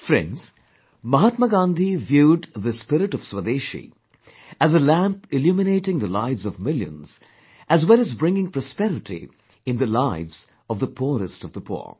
Friends, Mahatma Gandhi viewed this spirit of Swadeshi as a lamp illuminating the lives of millions as well as bringing prosperity in the lives of the poorest of the poor